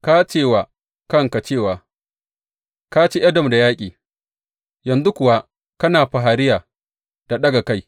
Ka ce wa kanka cewa ka ci Edom da yaƙi, yanzu kuwa kana fariya da ɗaga kai.